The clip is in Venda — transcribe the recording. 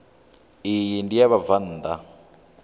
iyi ndi ya vhabvann ḓa